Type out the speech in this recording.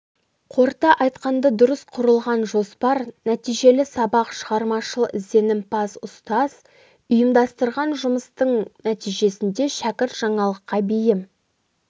қорыта айтқанда дұрыс құрылған жоспар нәтижелі сабақ шығармашыл ізденімпаз ұстаз ұйымдастырған жұмыстың нәтижесінде шәкірт жаңалыққа бейім